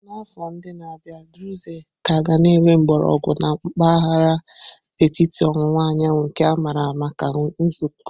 N'afọ ndị na-abịa, Druze ka ga-enwe mgbọrọgwụ na mpahara etiti owuwa anyanwu, nke a maara maka nkuzi nzuzo.